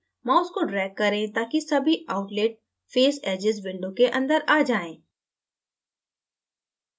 mouse को drag करें ताकि सभी outlet face edges window के अंदर आ जाएँ